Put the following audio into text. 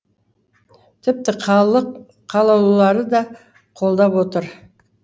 тіпті халық қалаулылары да қолдап отыр